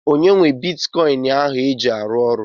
Onye nwe bitikọin ahụ iji arụ ọrụ?